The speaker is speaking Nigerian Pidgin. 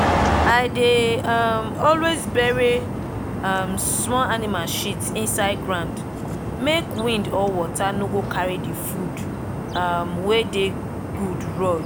i dey um always bury um small animal shit inside ground make wind or water no go carry the food um wey dey god run.